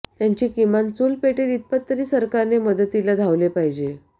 त्यांची किमान चुल पेटेल इतपत तरी सरकारने मदतीला धावले पाहिजे